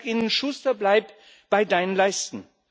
Ich sage ihnen Schuster, bleib bei deinen Leisten!